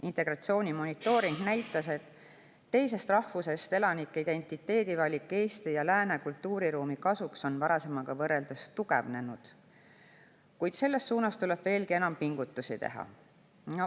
Integratsiooni monitooring näitas, et teisest rahvusest elanike identiteedivalik Eesti ja lääne kultuuriruumi kasuks on varasemaga võrreldes tugevnenud, kuid selles suunas tuleb veelgi enam pingutusi teha.